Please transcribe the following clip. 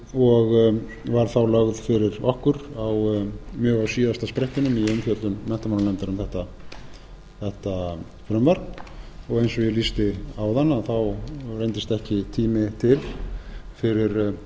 og var þá lögð fyrir okkur mjög á síðasta sprettinum í umfjöllun menntamálanefndar um þetta frumvarp og eins og ég lýsti áðan reyndist ekki tími til fyrir